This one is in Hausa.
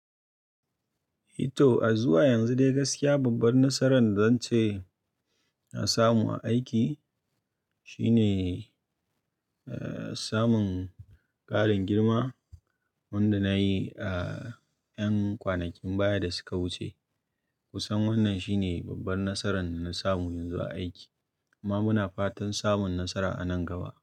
I to, a zuwa yanzu dai gaskiya babbar nasaran da zan ce na samu a aiki shine, eh, samun ƙarin girma wanda na yi a 'yan kwanakin baya da suka wuce. Kusan wannan shine babbar nasaran da na samu yanzu a aiki amma muna fatan samun nasara a nan gaba.